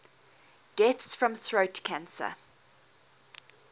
deaths from throat cancer